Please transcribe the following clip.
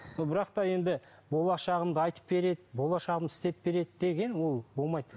но бірақ та енді болашағымды айтып береді болашағымды істеп береді деген ол болмайды